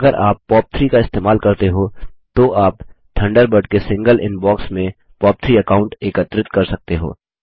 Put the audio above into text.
अगर आप पॉप3 का इस्तेमाल करते हो तो आप थंडरबर्ड के सिंगल इनबॉक्स में पॉप3 अकाऊंट एकत्रित कर सकते हो